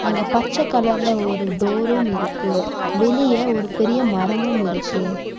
அங்க பச்செ கலர்ல ஒரு டோரும் இருக்கு வெளிய ஒரு பெரிய மரமும் இருக்கு.